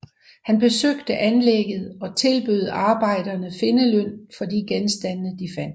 Han besøgte anlægget og tilbød arbejderne findeløn for de genstande de fandt